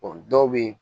dɔw bɛ yen